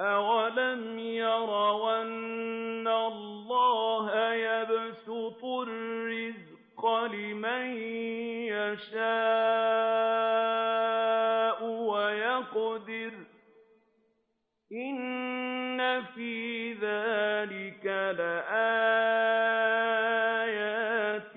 أَوَلَمْ يَرَوْا أَنَّ اللَّهَ يَبْسُطُ الرِّزْقَ لِمَن يَشَاءُ وَيَقْدِرُ ۚ إِنَّ فِي ذَٰلِكَ لَآيَاتٍ